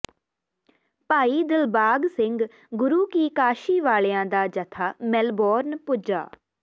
ਭਾਈ ਦਿਲਬਾਗ ਸਿੰਘ ਗੁਰੂ ਕੀ ਕਾਸ਼ੀ ਵਾਲਿਆਾ ਦਾ ਜਥਾ ਮੈਲਬੌਰਨ ਪੁੱਜਾ